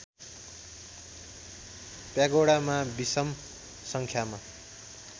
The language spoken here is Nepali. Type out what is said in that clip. प्यागोडामा विषम सङ्ख्यामा